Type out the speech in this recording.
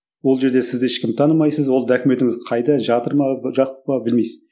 ол жерде сіз ешкімді танымайсыз ол документіңіз қайда жатыр ма па білмейсіз